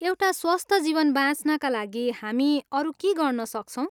एउटा स्वस्थ जीवन बाँच्नका लागि हामी अरू के गर्नसक्छौँ?